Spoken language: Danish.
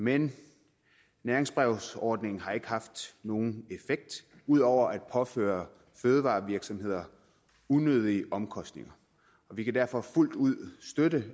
men næringsbrevsordningen har ikke haft nogen effekt ud over at påføre fødevarevirksomheder unødige omkostninger og vi kan derfor fuldt ud støtte